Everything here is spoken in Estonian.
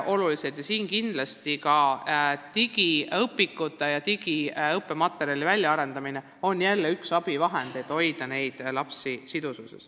Digiõpikute ja muude digiõppematerjalide väljaarendamine on üks headest abivahenditest, et hoida neid lapsi seotuna.